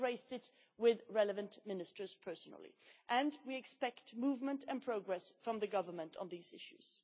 I have raised this with the relevant Ministers personally and we expect movement and progress from the Government on these issues.